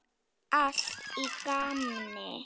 Allt í gamni.